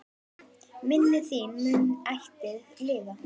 Minning þín mun ætíð lifa.